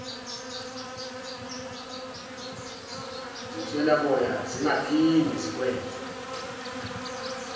zinswelaboya zingaphinde zikwenze